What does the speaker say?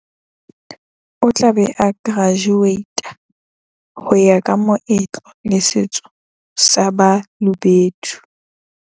O tla be a kerajuweita ho ya ka meetlo le setso sa Ba lobedu.